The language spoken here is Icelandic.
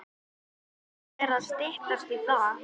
Það fer að styttast í það.